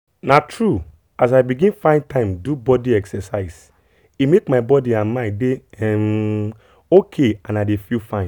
na true as i begin find time do body exercise e make my body and mind dey um ok and i dey feel fine.